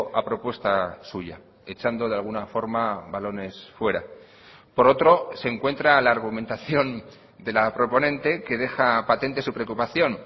a propuesta suya echando de alguna forma balones fuera por otro se encuentra la argumentación de la proponente que deja patente su preocupación